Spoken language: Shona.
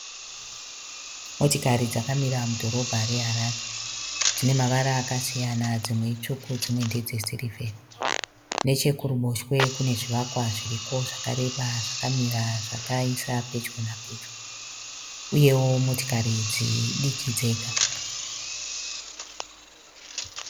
Motikari dzakamira mudhorobha reHarare dzine mavara akasiyana dzimwe itsvuku dzimwe ndedze sirivheri. Nechekuruboshwe kune zvivakwa zviriko zvakareba zvakamira zvakaiswa pedyo napedyo uyewo motikari idzi idiki dzega.